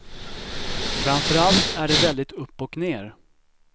Framför allt är det väldigt upp och ner.